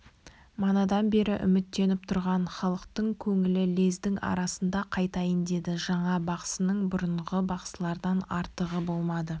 манадан бері үміттеніп тұрған халықтың көңілі лездің арасында қайтайын деді жаңа бақсының бұрынғы бақсылардан артықтығы болмады